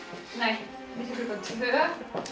nei milli klukkan tvö